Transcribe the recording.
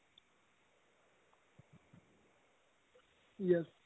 yes